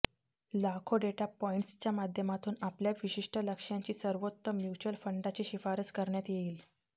लाखो डेटा पॉईंट्सच्या माध्यमातून आपल्या विशिष्ट लक्ष्यांसाठी सर्वोत्तम म्युच्युअल फंडाची शिफारस करण्यात येईल